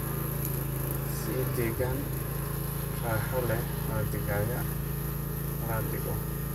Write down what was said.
Sii deegaan raaxo leh oo digaagga la dhigo.